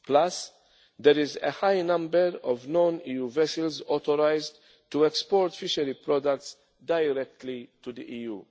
products. Plus there is a high number of non EU vessels authorised to export fishery products directly to